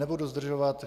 Nebudu zdržovat.